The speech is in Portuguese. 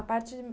A parte